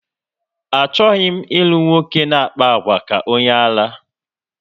Achọghị m ilu nwoke na-akpa àgwà ka onye ara